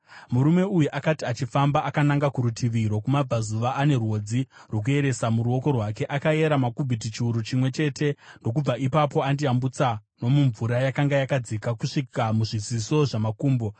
Murume uyu akati achifamba akananga kurutivi rwokumabvazuva ane rwodzi rwokuyeresa muruoko rwake, akayera makubhiti chiuru chimwe chete ndokubva ipapo andiyambutsa nomumvura yakanga yakadzika kusvika muzviziso zvamakumbo.